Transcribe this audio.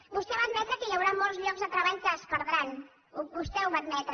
vostè va admetre que hi hauran molts llocs de treball que es perdran vostè ho va admetre